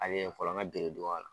fɔlɔ n ka bereduban la